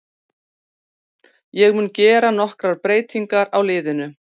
Ég mun gera nokkrar breytingar á liðinu.